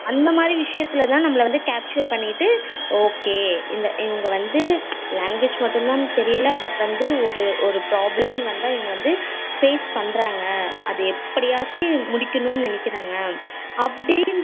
அந்த மாதிரி விஷயதுலதான் நம்மள வந்து capture பண்ணிட்டு okay இவங்க வந்து language மட்டும் தான் தெரியல but வந்து ஒரு problem னூ வந்தா இவங்க வந்து face பண்ணுறாங்க அது எப்படியாச்சும் முடிக்கணும்னு நினைக்குறாங்க